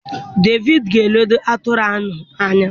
Devid ga-eledo atụrụ ahụ ányá.